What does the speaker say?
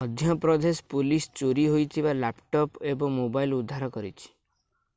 Madhya Pradesh police ଚୋରୀ ହୋଇଥିବା laptop ଏବଂ ମୋବାଇଲ ଉଦ୍ଧାର କରିଛି